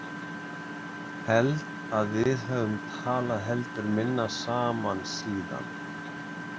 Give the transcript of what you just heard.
Held að við höfum talað heldur minna saman síðan.